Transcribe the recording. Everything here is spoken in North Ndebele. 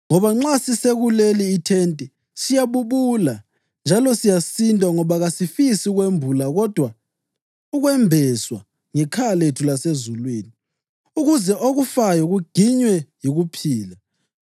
Ngoba nxa sisesekuleli ithente, siyabubula njalo siyasindwa ngoba kasifisi ukwembulwa kodwa ukwembeswa ngekhaya lethu lasezulwini ukuze okufayo kuginywe yikuphila.